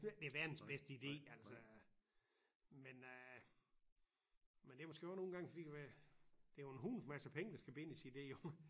Jeg synes ikke det er verdens bedste idé altså men øh men det måske godt nogle gange for ved du hvad det jo en hulens masse penge der skal bindes i det jo